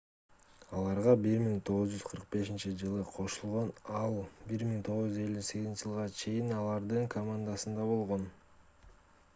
аларга 1945-жылы кошулган ал 1958-жылга чейин алардын командасында болгон